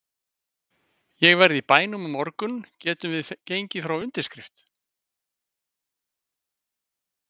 Ég verð í bænum á morgun getum við gengið frá undirskrift?